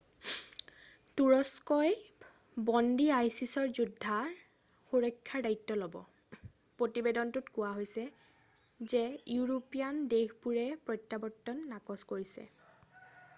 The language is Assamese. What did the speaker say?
তুৰস্কই বন্দী আইছিছ যোদ্ধাৰ সুৰক্ষাৰ দায়িত্ব ল'ব প্ৰতিবেদনটোত কোৱা হৈছে যে ইউৰোপীয়ান দেশবোৰে প্ৰত্যাৱৰ্তন নাকচ কৰিছে